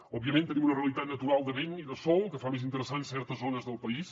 òbviament tenim una realitat natural de vent i de sol que fa més interessant certes zones del país